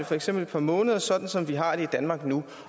for eksempel et par måneder sådan som vi har det i danmark nu